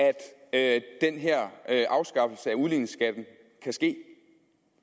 at den her afskaffelse af udligningsskatten kan ske